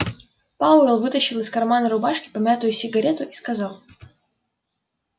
пауэлл вытащил из кармана рубашки помятую сигарету и сказал